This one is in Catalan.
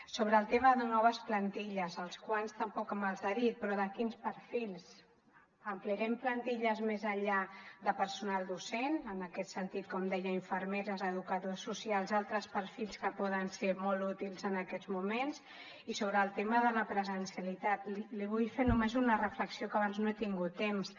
sobre el tema de noves plantilles els quants tampoc me’ls ha dit però de quins perfils ampliarem plantilles més enllà de personal docent en aquest sentit com deia infermeres educadors socials altres perfils que poden ser molt útils en aquests moments i sobre el tema de la presencialitat li vull fer només una reflexió que abans no n’he tingut temps